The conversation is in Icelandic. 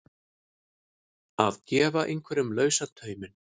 Að gefa einhverjum lausan tauminn